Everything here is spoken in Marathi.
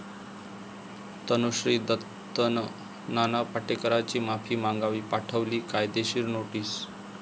तनुश्री दत्तानं नाना पाटेकरांची माफी मागावी, पाठवली कायदेशीर नोटीस